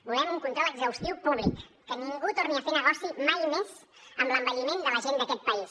volem un control exhaustiu públic que ningú torni a fer negoci mai més amb l’envelliment de la gent d’aquest país